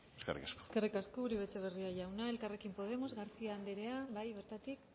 eskerrik asko eskerrik asko uribe etxebarria jauna elkarrekin podemos garcía andrea bai bertatik